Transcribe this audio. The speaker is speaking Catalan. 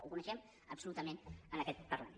ho coneixem absolutament en aquest parlament